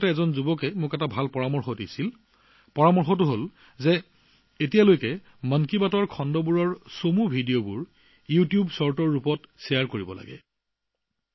কিছুদিনৰ আগতে এজন যুৱকে মোক এটা ভাল পৰামৰ্শ দিছিল পৰামৰ্শ এই যে এতিয়ালৈকে মন কী বাত খণ্ডৰ চুটি ভিডিঅ ইউটিউব চুটি ছবিৰ ৰূপত শ্বেয়াৰ কৰিব লাগে